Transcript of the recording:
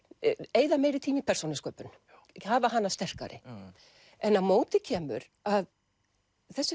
eyða meiri tíma í persónusköpun hafa hana sterkari en á móti kemur að þessi